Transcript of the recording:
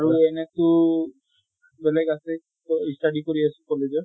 আৰু এনে তো বেলেগ আছে তʼ study কৰি আছো college ৰ